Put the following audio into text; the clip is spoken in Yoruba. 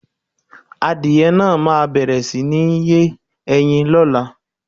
Àdie naà ma bẹẹ̀rẹ̀ si nì lé ẹyin ló̩la